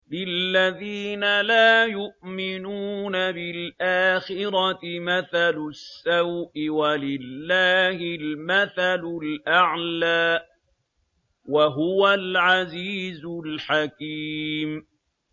لِلَّذِينَ لَا يُؤْمِنُونَ بِالْآخِرَةِ مَثَلُ السَّوْءِ ۖ وَلِلَّهِ الْمَثَلُ الْأَعْلَىٰ ۚ وَهُوَ الْعَزِيزُ الْحَكِيمُ